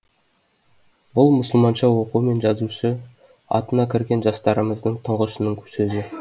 бұл мұсылманша оқу мен жазушы атына кірген жастарымыздың тұңғышының сөзі